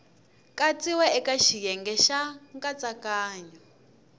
katsiwa eka xiyenge xa nkatsakanyo